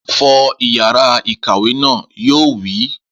Fọ yàrá ìkàwé naa! Yóò wí.